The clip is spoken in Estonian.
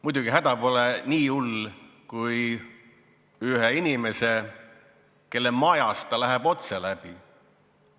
Muidugi, see häda pole nii hull kui ühel teisel inimesel, kelle majast ta läheb otse läbi.